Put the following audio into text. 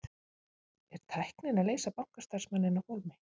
Er tæknin að leysa bankastarfsmanninn af hólmi?